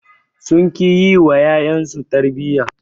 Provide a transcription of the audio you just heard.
Sun ƙi yi wa ƴaƴansu su tarbiyya.